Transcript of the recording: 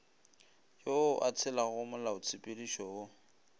yo a tshelago molaotshepedišo wo